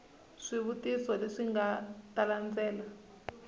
swivutiso leswi nga ta landzela